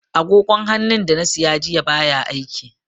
Agogon hannun da na siya jiya baya aiki.